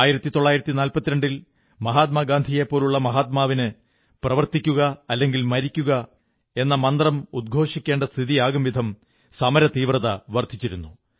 1942ൽ മഹാത്മാഗാന്ധിയെപ്പോലുള്ള മഹാത്മാവിന് പ്രവർത്തിക്കുക അല്ലെങ്കിൽ മരിക്കുക എന്ന മന്ത്രമുദ്ഘോഷിക്കേണ്ട സ്ഥിതിയാകും വിധം സമരതീവ്രത വർധിച്ചിരുന്നു